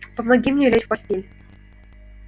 помоги мне лечь в постель